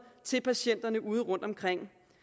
til patienterne ude rundtomkring